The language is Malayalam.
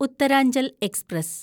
ഉത്തരാഞ്ചൽ എക്സ്പ്രസ്